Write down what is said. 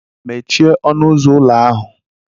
Mechie ọnụụzọ ụlọ ahụ!